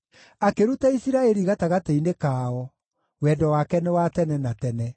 akĩruta Isiraeli gatagatĩ-inĩ kao, Wendo wake nĩ wa tene na tene.